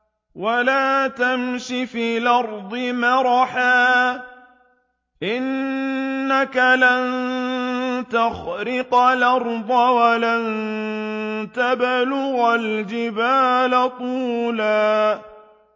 وَلَا تَمْشِ فِي الْأَرْضِ مَرَحًا ۖ إِنَّكَ لَن تَخْرِقَ الْأَرْضَ وَلَن تَبْلُغَ الْجِبَالَ طُولًا